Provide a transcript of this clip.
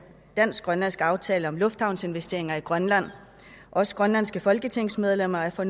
dansk grønlandsk aftale om lufthavnsinvesteringer i grønland også grønlandske folketingsmedlemmer er for